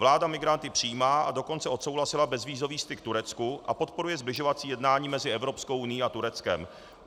Vláda migranty přijímá, a dokonce odsouhlasila bezvízový styk Turecku a podporuje sbližovací jednání mezi Evropskou unií a Tureckem.